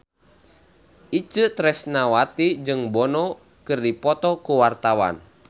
Itje Tresnawati jeung Bono keur dipoto ku wartawan